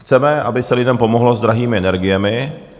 Chceme, aby se lidem pomohlo s drahými energiemi.